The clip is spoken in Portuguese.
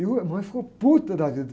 E uh, a mamãe ficou puta da vida.